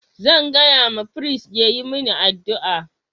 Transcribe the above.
Zan gaya ma firist ya yi min addu'a